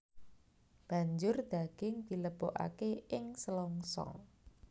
Banjur daging dilebokake ing selongsong